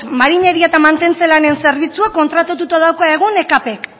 marineria eta mantentze lanen zerbitzuak kontratatuta dauka egun ekp k